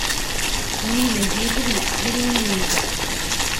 нина юрьевна веремеенко